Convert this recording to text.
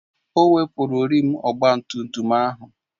O wepụrụ rịịm ọgba tum tum ahụ